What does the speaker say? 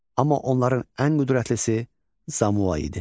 Amma onların ən qüdrətlisi Zamua idi.